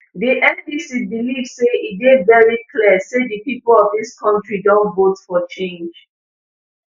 di ndc believe say e dey very clear say di pipo of dis kontri don vote for change